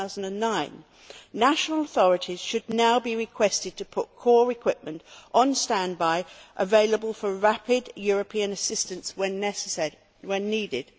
2009. National authorities should now be requested to put core equipment on standby, available for rapid European assistance when needed.